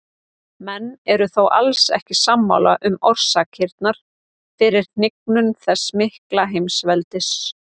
Menn eru þó alls ekki sammála um orsakirnar fyrir hnignun þessa mikla heimsveldis.